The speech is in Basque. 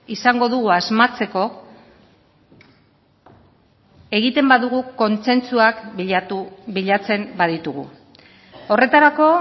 izango dugu asmatzeko egiten badugu kontsentsuak bilatu bilatzen baditugu horretarako